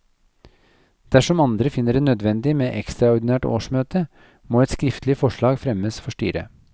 Dersom andre finner det nødvendig med ekstraordinært årsmøte, må et skriftlig forslag fremmes for styret.